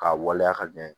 K'a waleya ka ɲɛ